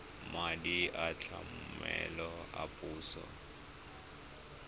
madi a tlamelo a puso